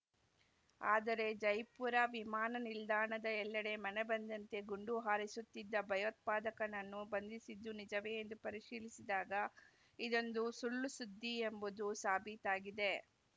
ಆದರೆ ಜೈಪುರ ವಿಮಾನ ನಿಲ್ದಾಣದ ಎಲ್ಲೆಡೆ ಮನಬಂದಂತೆ ಗುಂಡು ಹಾರಿಸುತ್ತಿದ್ದ ಭಯೋತ್ಪಾದಕನನ್ನು ಬಂಧಿಸಿದ್ದು ನಿಜವೇ ಎಂದು ಪರಿಶೀಲಿಸಿದಾಗ ಇದೊಂದು ಸುಳ್ಳುಸುದ್ದಿ ಎಂಬುದು ಸಾಬೀತಾಗಿದೆ